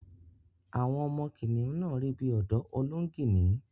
Àwọn ọmọ kìnnìún náà rí bí ọ̀dọ́ Olóngìní